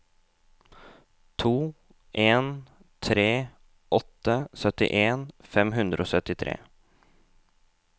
to en tre åtte syttien fem hundre og syttitre